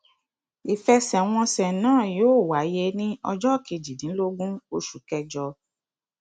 ìfẹsẹwọnsẹ náà yóò wáyé ní ọjọ kejìdínlógún oṣù kẹjọ